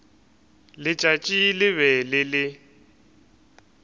letšatši le be le le